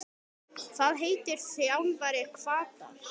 Hvað heitir þjálfari Hvatar?